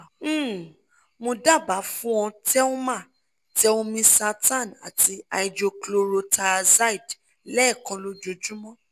um mo daba fun ọ telmah telmisartan ati hydrochlorothiazide lẹ́ẹ̀kan lójoojúmọ́